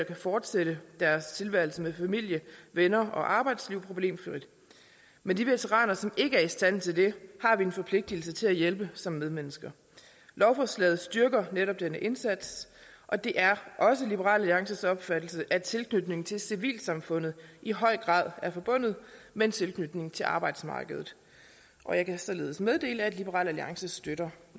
kan fortsætte deres tilværelse med familie venner og arbejdsliv problemfrit men de veteraner som ikke er i stand til det har vi en forpligtelse til at hjælpe som medmennesker lovforslaget styrker netop denne indsats og det er også liberal alliances opfattelse at en tilknytning til civilsamfundet i høj grad er forbundet med en tilknytning til arbejdsmarkedet jeg kan således meddele at liberal alliance støtter